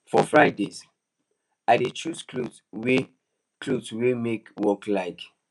for fridays i dey choose clothes wey clothes wey my work like